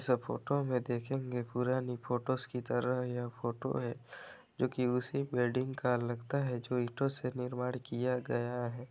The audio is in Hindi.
वैसे फोटो में में देखेंगे पुरानी फोटोज की तरह यह फोटो है जो कि उसी वेडिंग का लगता है जो इंटों से निर्माण किया गया है।